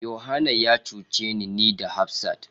Yohana ya cuce ni da hafsat.